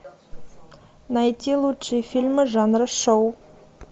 найти лучшие фильмы жанра шоу